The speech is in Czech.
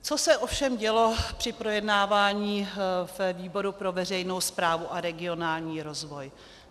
Co se ovšem dělo při projednávání ve výboru pro veřejnou správu a regionální rozvoj?